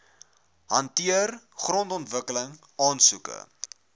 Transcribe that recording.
hanteer grondontwikkeling aansoeke